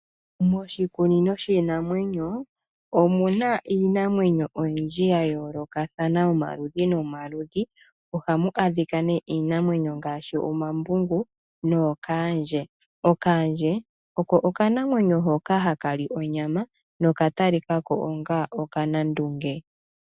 Moshikunino shiinamwenyo omuna iinamwenyo oyindji ya yoolokathana yomaludhi nomaludhi. Ohamu adhika iinamwenyo ngaashi omambungu nookaandje. Kaandje oko okanamwenyo hoka hakali onyama noka talikako okanandunge.